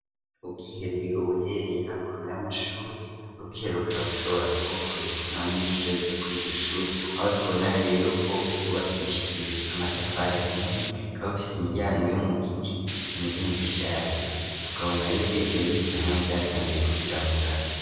Ubwiherero buherereye hakona y'amashuri r'ubwiherukab ushobora kuba bukoreshwa n'abanyeshuri abiga kuri igishuri aho tubona rero ko gubakishijwe amatafara ahiye kabofisi imiryango yo mu giti kimeze nk'giishaje tukabona rero ko ibyo bitehamo ni byatanguye kwirabura.